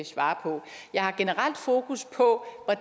svare på jeg har generelt fokus på